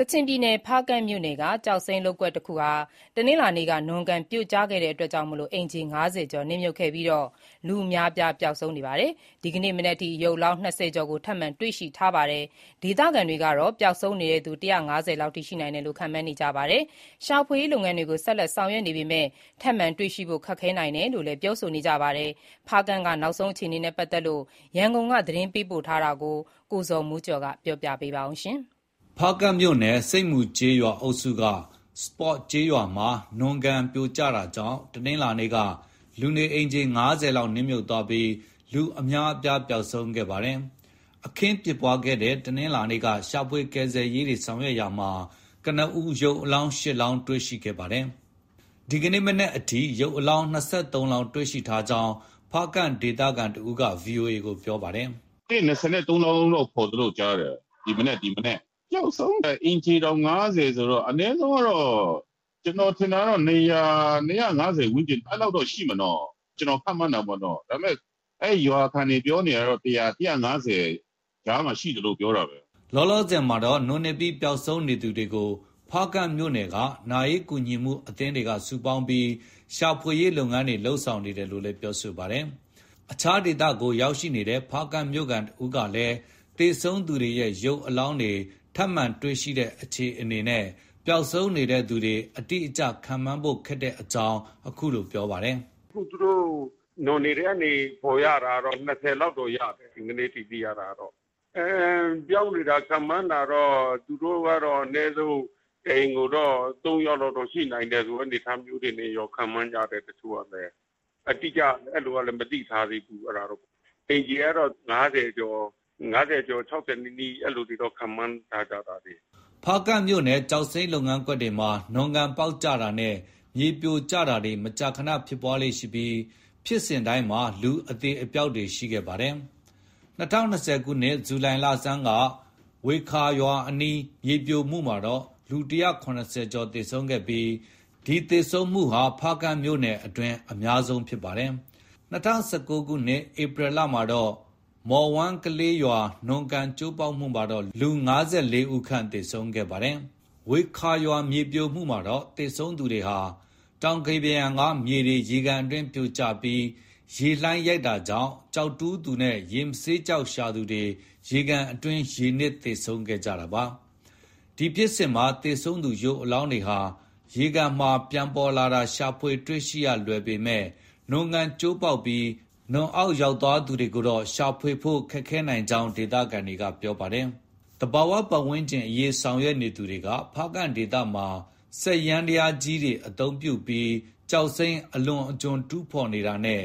ကချင်ပြည်နယ် ဖားကန့်မြို့နယ်က ကျောက်စိမ်းလုပ်ကွက်တခု တနင်္လာနေ့က နွံကန်ပြိုကျတာကြောင့် အိမ်ခြေ ၅၀ ကျော် နစ်မြုပ်ခဲ့ပြီး လူအများပျောက်ဆုံးနေရာမှာ ဒီကနေ့မနက် အထိ ရုပ်အလောင်း ၂၀ ကျော်ကို ထပ်မံတွေ့ရှိထားပါတယ်။ ဒေသခံတွေကတော့ ပျောက်ဆုံးနေတဲ့သူ ၁၅၀ လောက်အထိ ရှိနိုင်တယ်လို့ ခန့်မှန်းနေကြပါတယ်။ ရှာဖွေရေးလုပ်ငန်းတွေကို ဆက်လက်ဆောင်ရွက်နေပေမဲ့ ထပ်မံတွေ့ရှိဖို့ ခက်ခဲနိုင်တယ်လို့လည်း ပြောပါတယ်။ ဖားကန့်က နောက်ဆုံးအခြေအနေ ရန်ကုန်က သတင်းပေးပို့ထားပါတယ်။ ဖားကန့်မြို့နယ် ဆိပ်မူကျေးရွာအုပ်စုက စပေါ့ကျေးရွာ နွံကန်ပြိုကျတာကြောင့် တနင်္လာနေ့က လူနေ အိမ် ၅၀ ခန့် နစ်မြုပ်သွားပြီး လူအများအပြားပျောက်ဆုံးခဲ့တာပါ။ အခင်းဖြစ်ပွားခဲ့တဲ့ တနင်္လာနေ့က ရှာဖွေကယ်ဆယ်ရေးဆောင်ရွက်ရာမှာ ကနဦး ရုပ်အလောင်း ၈ လောင်းတွေ့ရှိခဲ့ပါတယ်။ ဒီနေ့မနက်အထိ ရုပ်အလောင်း ၂၃ လောင်း တွေ့ရှိထားကြောင်း ဖားကန့်ဒေသခံတဦးက VOA ကို ပြောပါတယ်။ “၂၃ လောင်းတော့ ဖော်တယ်လို့ ကြားတယ်။ ဒီမနက်။ ပျောက်ဆုံးတာ အိမ်ခြေတောင် ၅၀ ဆိုတော့ အနည်းဆုံး ကတော့ ကျနော်ထင်တာတော့ ၂၀၀- ၂၅၀ ဝန်းကျင် အဲလောက်တော့ ရှိမယ်နော။ ကျနော် ခန့်မှန်းတာ ပေါ့နော။ ဒါပေမဲ့ အဲဒီရွာခံတွေ ပြောနေတာတော့ ၁၀၀- ၁၅၀ ကြားမှာ ရှိတယ်လို့ ပြောတာပဲ။” လောလောဆယ်မှာတော့ နွံနစ်ပြီး ပျောက်ဆုံးနေသူတွေကို ဖားကန့်မြို့နယ်က နာရေးကူညီမှု အသင်းတွေက စုပေါင်းပြီး ရှာဖွေနေတယ်လို့လည်း ပြောပါတယ်။ အခြားဒေသကို ရောက်ရှိနေတဲ့ ဖားကန့်မြို့ခံတဦးကလည်း သေဆုံးနေသူတွေရဲ့ ရုပ်အလောင်းတွေ ထပ်မံတွေ့ရှိတဲ့ အခြေအနေနဲ့ ပျောက်ဆုံးနေတဲ့သူတွေ အတိအကျ ခန့်မှန်းဖို့ ခက်ခဲတဲ့အကြောင်း ပြောပါတယ်။ “အခု သူတို့ နွံတွေထဲကနေ ဖော်ရတာတော့ ၂၀ လောက်တော့ ရတယ်။ ဒီကနေ့အထိ သိရတာကတော့။ ပျောက်နေတာ ခန့်မှန်းတာတော့ သူတို့ကတော့ အနည်းဆုံး တအိမ်ကိုတော့ ၃ ယောက်လောက်တော့ ရှိနိုင်တယ်ဆိုတဲ့ အနေအထားမျိုးတွေ ခန့်မှန်းကြတယ်။ အတိအကျ အဲလိုကလည်း မသိထားသေးဘူး။ အိမ်ခြေကတော့ ၅၀ ကျော်၊ ၆၀ နီးနီး အဲလိုတွေတော့ ခန့်မှန်းထားကြတာပဲ။” ဖားကန့်မြို့နယ် ကျောက်စိမ်းလုပ်ကွက်တွေမှာ နွံကန်ပေါက်ကျတာနဲ့ မြေပြိုကျတာတွေ မကြာခန ဖြစ်ပွားလေ့ရှိပြီး ဖြစ်စဉ်တိုင်းမှာ လူအသေအပျောက်တွေ ရှိခဲ့ပါတယ်။ ၂၀၂၀ ခုနှစ် ဇူလိုင်လဆန်းက ဝေခါရွာအနီး မြေပြိုမှုမှာတော့ လူ ၁၇၀ ကျော် သေဆုံးခဲ့ပြီး ဒီ သေဆုံးမှုဟာ ဖားကန်မြို့နယ်အတွင်း လူသေဆုံးမှု အများဆုံးဖြစ်စဉ်ဖြစ်ခဲ့ပါတယ်။ ၂၀၁၉ ခုနှစ် ဧပြီလမှာတော့ မော်ဝမ်းကလေးရွာ နွံကန်ကျိုးပေါက်မှုမှာတော့ ၅၄ ဦးခန့် သေဆုံးခဲ့ရပါတယ်။ ဝေခါရွာမြေပြိုမှုမှာတော့ သေဆုံးသူတွေဟာ တောင်ကမ်းပါးယံက ရေကန်အတွင်း ပြိုကျပြီး ရေလှိုင်းရိုက်တာကြောင့် ကျောက်တူးသူနဲ့ ရေမဆေးကျောက်ရှာသူတွေ ရေကန်အတွင်း ရေနစ် သေဆုံးခဲ့ကြတာပါ။ ဒီဖြစ်စဉ်မှာ သေဆုံးသူရုပ်အလောင်းတွေဟာ ရေကန်မှာ ပြန်ပေါ်လာလို့ ရှာဖွေရလွယ်ပေမဲ့ နွံကန်ကျိုးပေါက်ပြီး နွံအောက်ရောက်သွားသူတွေကိုတော့ ရှာဖွေဖို့ ခက်ခဲနိုင် ကြောင်း သုံးသပ်တာတွေ ရှိပါတယ်။ သဘာပတ်ဝန်းကျင်အရေးဆောင်ရွက်နေသူတွေက ဖားကန့်ဒေသမှာ စက်ယန္တရားကြီးတွေ သုံးပြီး ကျောက်စိမ်းအလွန်အကျွံတူးဖော်တာနဲ့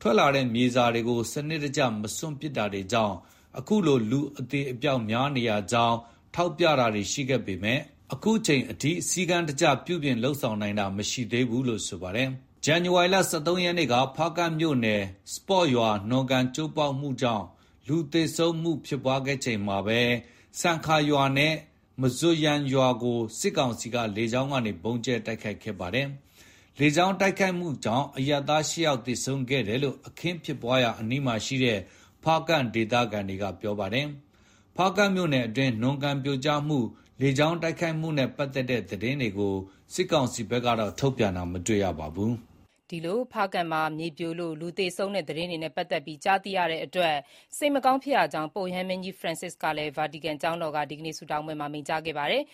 ထွက်လာတဲ့မြေစာတွေကို စနစ်တကျ မစွန့်ပစ်တာတွေကြောင့် အခုလို လူအသေအပျောက်များနေရကြောင်း ထောက်ပြတာတွေ ရှိခဲ့ပေမဲ့ အခုအချိန်ထိ သဘာဝ ပတ်ဝန်းကျင် ထိန်းသိမ်းရေးကို ဆောင်ရွက်နိုင်တာ မရှိသေးပါဘူး။ ဇန်နဝါရီလ ၁၃ ရက်နေ့က ဖားကန့်မြို့နယ် စပေါ့ရွာ နွံကန်ကျိုးပေါက်တာကြောင့် လူသေဆုံးမှု ဖြစ်ပွား ခဲ့ချိန်မှာပဲ ဆန်ခါရွာနဲ့ မဇွပ်ယန်ရွာကို စစ်ကောင်စီက လေကြောင်းက ဗုံးကြဲတိုက်ခိုက်ခဲ့ပါတယ်။ လေကြောင်းတိုက်ခိုက်မှုကြောင့် အရပ်သား ၈ ယောက် သေဆုံးခဲ့တယ်လို့ အခင်းဖြစ်ပွားရာအနီးမှာ ရှိတဲ့ ဖားကန့်ဒေသခံက ပြောပါတယ်။ ဖားကန့်မြို့နယ်အတွင်း နွံကန်ပြိုကျမှု၊ လေကြောင်း တိုက်ခိုက်မှုနဲ့ ပတ်သက်တဲ့သတင်းတွေကိုတော့ စစ်ကောင်စီဘက်က ထုတ်ပြန်တာ မတွေ့ ရပါဘူး။ ဖားကန့် မြေပြိုမှုကြောင့် သေကျေထိခိုက်မှုတွေ၊ ထိခိုက်ပျက်စီးမှု သတင်းတွေအတွက် စိတ်မကောင်း ဖြစ်ရကြောင်း ပုပ်ရဟန်းမင်းကြီး Francis ကလည်း ဗာတီကန်ကျောင်းတော်က ဒီကနေ့ ဆုတောင်းပွဲမှာ မိန့်ကြားခဲ့ပါတယ်။